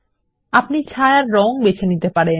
আপনি সীমানার রঙ এবং ছায়া বেছে নিতে পারেন